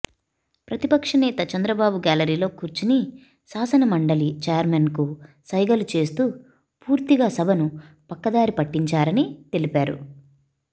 ప్రతిపక్ష నేత చంద్రబాబు గ్యాలరీలో కూర్చుని శాసన మండలి చైర్మన్కు సైగలు చేస్తూ పూర్తిగా సభను పక్కదారి పట్టించారని తెలిపారు